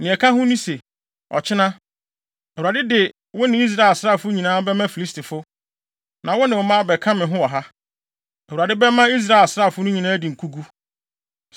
Nea ɛka ho ne se, ɔkyena, Awurade de wo ne Israel asraafo nyinaa bɛma Filistifo, na wo ne wo mma abɛka me ho wɔ ha. Awurade bɛma Israel asraafo no nyinaa adi nkogu.”